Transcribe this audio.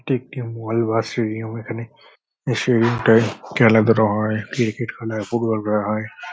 এটা একটি মল বা স্টেডিয়াম এখানে স্টেডিয়াম - এ খেলাধুলা হয় ক্রিকেট খেলা হয় ফুটবল খেলা হয় পোগ্রাম করা হয় ।